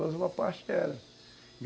Mas uma parte era.